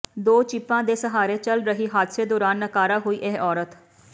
ਦੋ ਚਿਪਾਂ ਦੇ ਸਹਾਰੇ ਚੱਲ ਰਹੀ ਹਾਦਸੇ ਦੌਰਾਨ ਨਾਕਾਰਾ ਹੋਈ ਇਹ ਔਰਤ